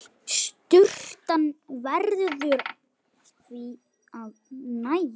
Sturtan verður því að nægja.